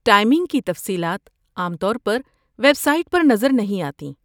Timing کی تفصیلات عام طور پر ویب سائٹ پر نظر نہیں آتیں۔